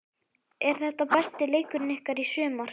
Er þetta besti leikurinn ykkar í sumar?